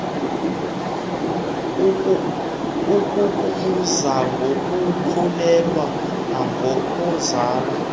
ukukubuza ngokukhulelwa nangokuzala